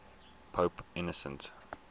pope innocent